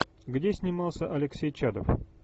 где снимался алексей чадов